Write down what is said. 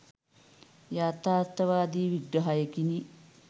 යථාර්ථවාදි විග්‍රහයකිනි.